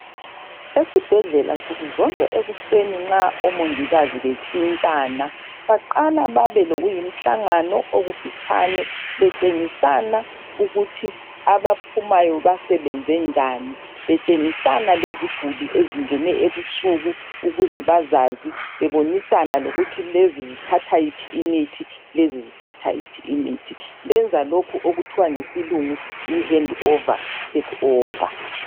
Esibhedlela nsukuzonke ekuseni nxa omongikazi bentshintshana baqala babe lokuyimhlangano okufitshane betshengisana ukuthi abaphumayo basebenze njani betshengisana leziguli ezingene ebusuku ukuze bazazi bebonisana lokuthi lezi azithatha iphi imithi lezi azithatha iphi imithi benza lokhu okuthiwa ngesilungu yi handover takeover.